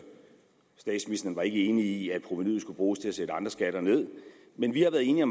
statsministeren var ikke enig i at provenuet skulle bruges til at sætte andre skatter ned med men vi har været enige